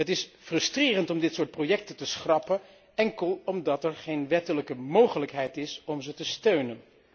Het is frustrerend om dit soort projecten te schrappen enkel omdat er geen wettelijke mogelijkheid is om ze te steunen.